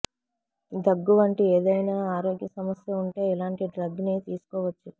దగ్గు వంటి ఏదైనా ఆరోగ్య సమస్య ఉంటే ఇలాంటి డ్రగ్ ని తీసుకోవచ్చు